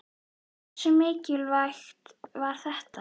Hversu mikilvægt var þetta?